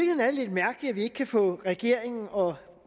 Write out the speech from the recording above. lidt mærkeligt at vi ikke kan få regeringen og